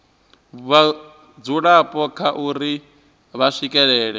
vhadzulapo kha uri vha swikelela